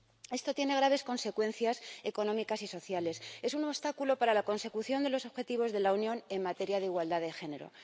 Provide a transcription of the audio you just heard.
Esto tiene graves consecuencias económicas y sociales, es un obstáculo para la consecución de los objetivos de la Unión en materia de igualdad de género.